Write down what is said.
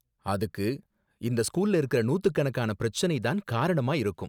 அதுக்கு இந்த ஸ்கூல்ல இருக்குற நூத்துக்கணக்கான பிரச்சனை தான் காரணமா இருக்கும்.